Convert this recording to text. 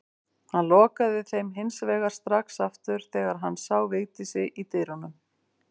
Hann lokaði þeim hins vegar strax aftur þegar hann sá Vigdísi í dyrunum.